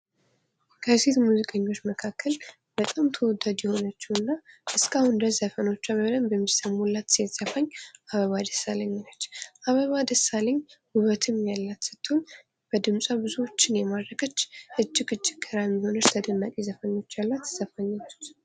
ከሴት ሙዚቀኞች መካክለ በጣም ተወዳጅ የሆነችው እና እስከ አሁን ድረስ ሙዚቃዎቿ በጣም የሚሰሙላት ሴት ዘፋኝ አበባ ደሳለኝ ነች። አበባ ደሳለኝ ዉበትም ያላት ስትሆን ብድምጿም ብዙዎች የማረከች እጅግ እጅግ ተደማጭ ዘፈኖች ያሏት ገራሚ የሆነች ዘፋኝ ነች።